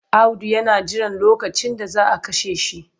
Audu yana jiran lokacin da za a kashe shi.